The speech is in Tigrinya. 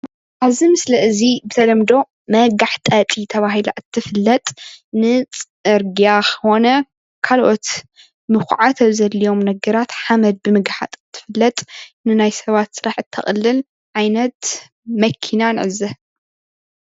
ኣብዚ ምስሊ እዚ ብተለምዶ ናይ ጋሕጣጢት ተባሂላ ናይ እትፍለጥ ንፅርግያ ኮነ ካልኦት ምኩዓት ኣብ ዘድልዮም ነገራት ሓመድ ብምግሓጥ እትፍለጥ ንናይ ሰባት ስራሐቲ እተቅልል ዓይነት መኪና ንዕዘብ ፡፡